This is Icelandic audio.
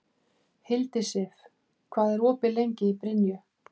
Hildisif, hvað er opið lengi í Brynju?